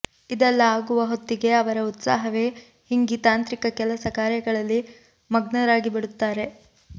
ಇದೆಲ್ಲ ಆಗುವ ಹೊತ್ತಿಗೆ ಅವರ ಉತ್ಸಾಹವೇ ಹಿಂಗಿ ತಾಂತ್ರಿಕ ಕೆಲಸ ಕಾರ್ಯಗಳಲ್ಲಿ ಮಗ್ನರಾಗಿಬಿಡುತ್ತಾರೆ